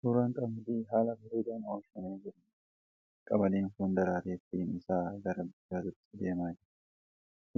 Suuraa qamadii haala bareedaan oomishamee jiruudha. Qamadiin kun daraaree firiin isaa gara bilchaachuutti deemaa jira.